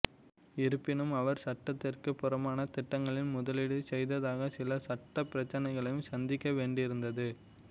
இருப்பினும் அவர் சட்டத்திற்குப் புறம்பான திட்டங்களில் முதலீடு செய்ததாக சில சட்டப் பிரச்சனைகளையும் சந்திக்க வேண்டியிருந்தது